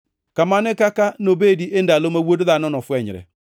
“Kamano e kaka nobedi e ndalo ma Wuod Dhano nofwenyre.